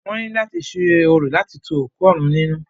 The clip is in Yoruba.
Wọ́n ní láti ṣe orò láti tu òkú òrun nínú.